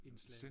Indslaget